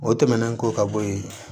O tɛmɛnen kɔ ka bɔ yen